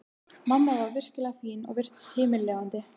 Mamma var virkilega fín og virtist himinlifandi.